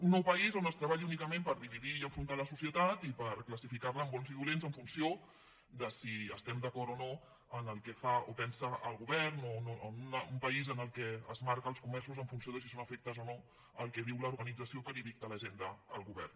un nou país on es treballi únicament per dividir i enfrontar la societat i per classificarla en bons i dolents en funció de si estem d’acord o no amb el que fa o pensa el govern un país en què es marca els comerços en funció de si són afectes o no al que diu l’organització que li dicta l’agenda al govern